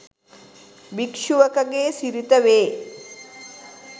භික්‍ෂුවකගේ සිරිත වේ